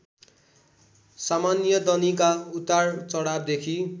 सामान्यदनीका उतार चढावदेखि